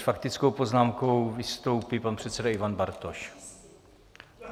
S faktickou poznámkou vystoupí pan předseda Ivan Bartoš.